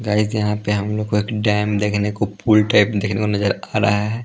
Guys यहाँ पे हम लोग को एक डैम देखने को पूल टाइप देखने को नजर आ रहा है ।